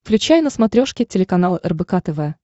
включай на смотрешке телеканал рбк тв